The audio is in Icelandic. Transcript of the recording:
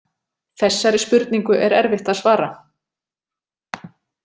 Þessari spurningu er erfitt að svara.